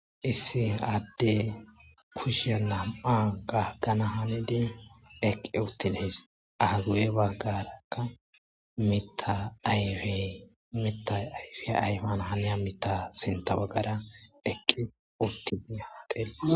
isse adde kushiya nam7a gaggana hanidi eqqi uttinees agu7e baggarakka mita ayfe mita ayfiya ayfana haniya mita sinta baggara eqqi uttiid ha xales